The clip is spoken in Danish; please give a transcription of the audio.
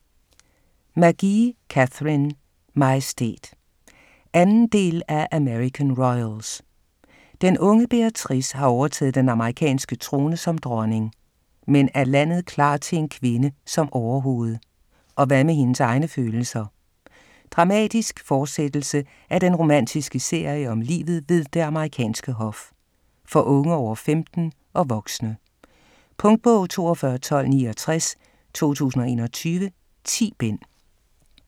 McGee, Katharine: Majestæt 2. del af American royals. Den unge Beatrice har overtaget den amerikanske trone som dronning. Men er landet klar til en kvinde som overhoved? Og hvad med hendes egne følelser? Dramatisk forsættelse af den romantiske serie om livet ved det amerikanske hof. For unge over 15 og voksne. Punktbog 421269 2021. 10 bind.